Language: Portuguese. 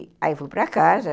Aí eu fui para casa,